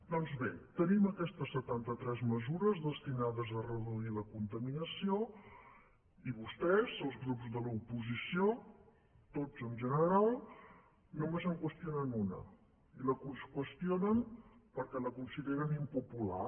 doncs bé tenim aquestes setanta tres mesures destinades a reduir la contaminació i vostès els grups de l’oposició tots en general només en qüestionen una i la qüestionen perquè la consideren impopular